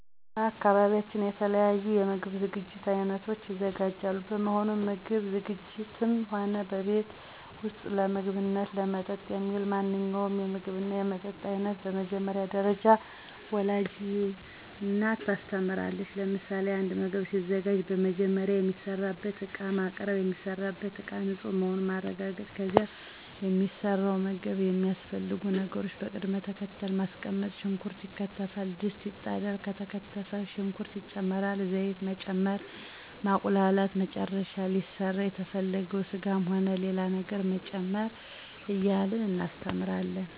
በአካባቢያችን የተለያዩ የምግብ ዝግጅት አይነቶች ይዘጋጃሉ በመሆኑም ምግብ ዝግጂትም ሆነ በቤት ውስጥ ለምግብነትና ለመጠጥ የሚውል ማንኛውንም የምግብና የመጠጥ አይነት በመጀመሪያ ደረጃ ወላጅ እናት ታስተምራለች ለምሳሌ፦ አንድ ምግብ ሲዘጋጅ መጀመሪያ የሚሰራበትን እቃ ማቅርብ፣ የሚሰራበትን እቃ ንፁህ መሆኑን ማረጋገጥ ከዚያ ለሚሰራው ምግብ የሚያስፈልጉ ነገሮችን በቅድም ተከተል ማስቀመጥ ሽንኩርት ይከተፋል፣ ድስት ይጣዳል፣ የተከተፈ ሽንኩርት ይጨመራል፣ ዘይት መጨመር፣ ማቁላላት በመጨረሻም ሊሰራ የተፈለገውን ስጋም ሆነ ሌላ ነገር መጨመር እያልን እናስተምራለን።